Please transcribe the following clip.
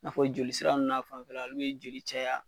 N'a fɔ joli sira nn n'a fanfɛla n'u ye jeli caya